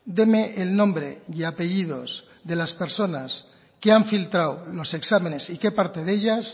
deme el nombre y apellidos de las personas que han filtrado los exámenes y qué parte de ellas